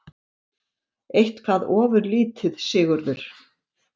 Eitthvað ofurlítið, Sigurður?